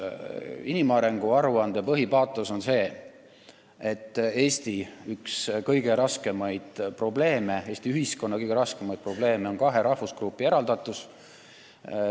Inimarengu aruande põhipaatos on selline, et Eesti ühiskonna üks kõige raskemaid probleeme on kahe rahvusgrupi eraldatus.